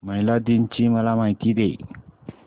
महिला दिन ची मला माहिती दे